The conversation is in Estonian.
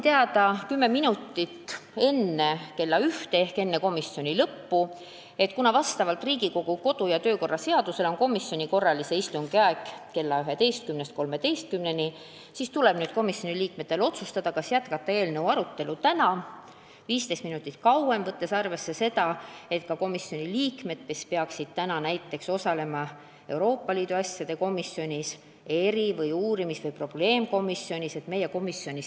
Ja 10 minutit enne kella 13 ehk enne komisjoni istungi lõppu andsin teada, et kuna Riigikogu kodu- ja töökorra seaduse järgi on komisjoni korralise istungi aeg kella 11–13, siis tuleb komisjoni liikmetel otsustada, kas jätkata eelnõu arutelu 15 minutit kauem, võttes arvesse seda, et meie komisjonis ei ole selliseid liikmed, kes peaksid osalema samal ajal Euroopa Liidu asjade komisjonis, eri- või uurimis- või probleemkomisjonis.